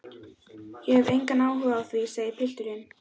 Ég hef engan áhuga á því, segir pilturinn.